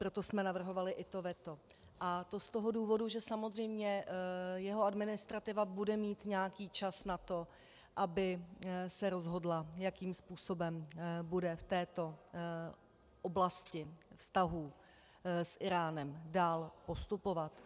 Proto jsme navrhovali i to veto, a to z toho důvodu, že samozřejmě jeho administrativa bude mít nějaký čas na to, aby se rozhodla, jakým způsobem bude v této oblasti vztahů s Íránem dál postupovat.